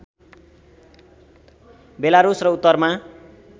Belarus र उत्तरमा